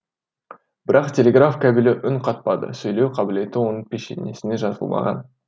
бірақ телеграф кабелі үн қатпады сөйлеу қабілеті оның пешенесіне жазылмаған